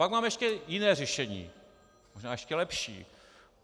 Pak mám ještě jiné řešení, možná ještě lepší.